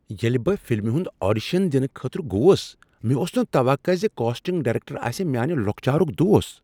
ییٚلہ بہٕ فلمہ ہنٛد آڈیشن دنہٕ خٲطرٕ گوس، مےٚ اوس نہٕ توقع زِ کاسٹنگ ڈایریکٹر آسہ میانِہ لۄکچارک دوس۔